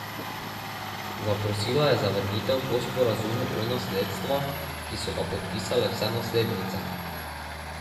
Zaprosila je za vrnitev po sporazumu o nasledstva, ki so ga podpisale vse naslednice.